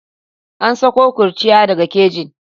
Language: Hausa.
An sako kurciya daga kejin.